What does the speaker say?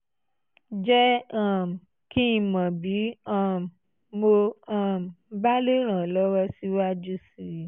jẹ́ um kí n mọ̀ bí um mo um bá lè ràn ọ́ lọ́wọ́ síwájú sí i